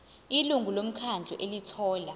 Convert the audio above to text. ilungu lomkhandlu elithola